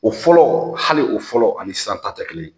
O fɔlɔ hali o fɔlɔ ani sisan ta tɛ kelen.